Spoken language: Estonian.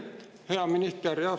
Hea minister!